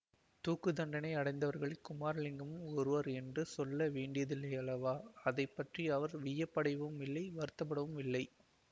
தூக்கு தண்டனை அடைந்தவர்களில் குமாரலிங்கமும் ஒருவன் என்று சொல்ல வேண்டியதில்லையல்லவா அதை பற்றி அவர் வியப்படையவும் இல்லை வருத்தப்படவும் இல்லை